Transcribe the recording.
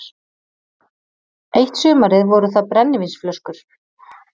Eitt sumarið voru það brennivínsflöskur